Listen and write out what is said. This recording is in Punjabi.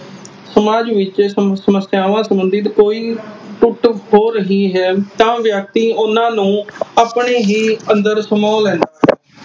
ਸਮਾਜ ਵਿਚ ਸਮਸਿਆਵਾਂ ਸੰਬੰਧਿਤ ਕੋਈ ਟੁੱਟ ਹੋ ਰਹੀ ਹੈ ਤਾ ਵਿਅਕਤੀ ਓਹਨਾ ਨੂੰ ਆਪਣੇ ਅੰਦਰ ਹੀ ਸਮੋ ਲੈਂ।